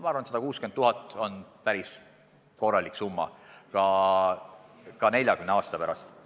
Ma arvan, et 160 000 eurot on päris korralik summa ka 40 aasta pärast.